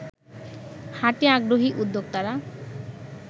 হাটে আগ্রহী উদ্যোক্তারা